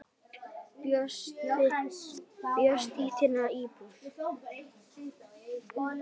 Bjóst í þinni íbúð.